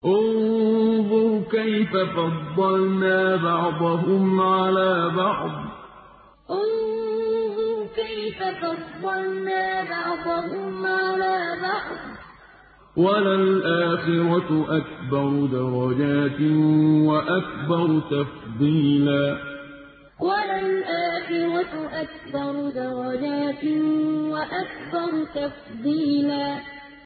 انظُرْ كَيْفَ فَضَّلْنَا بَعْضَهُمْ عَلَىٰ بَعْضٍ ۚ وَلَلْآخِرَةُ أَكْبَرُ دَرَجَاتٍ وَأَكْبَرُ تَفْضِيلًا انظُرْ كَيْفَ فَضَّلْنَا بَعْضَهُمْ عَلَىٰ بَعْضٍ ۚ وَلَلْآخِرَةُ أَكْبَرُ دَرَجَاتٍ وَأَكْبَرُ تَفْضِيلًا